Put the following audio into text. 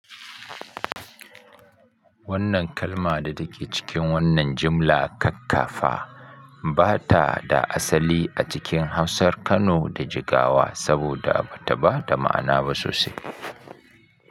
Wannan kalma da take cikin wannan jimla kakkafa ba ta da asali a cikin Hausar Kano da Jigawa saboda ba ta ba da ma'ana ba sosai.